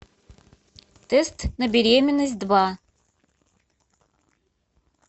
тест на беременность два